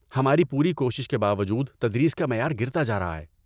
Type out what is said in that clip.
ہماری پوری کوشش کے باوجود تدریس کا معیار گرتا جارہا ہے